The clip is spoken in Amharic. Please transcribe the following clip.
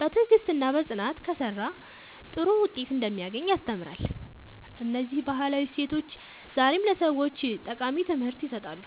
በትዕግሥትና በጽናት ከሠራ ጥሩ ውጤት እንደሚያገኝ ያስተምራል። እነዚህ ባህላዊ እሴቶች ዛሬም ለሰዎች ጠቃሚ ትምህርት ይሰጣሉ።"